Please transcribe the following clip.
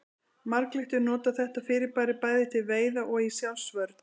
Marglyttur nota þetta fyrirbæri bæði til veiða og í sjálfsvörn.